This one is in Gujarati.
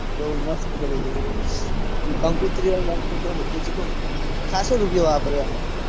હા બૌ મસ્ત કર્યું હતું. કંકૃતિ ન બનકૃતિ બધું. ચેટલું ખાસો રૂપિયો વાપર્યો એમાં